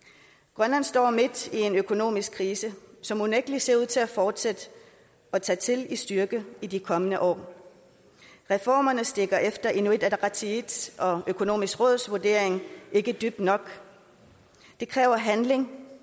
grønland står midt i en økonomisk krise som unægtelig ser ud til at fortsætte og tage til i styrke i de kommende år reformerne stikker efter inuit ataqatigiits og økonomisk råds vurdering ikke dybt nok det kræver handling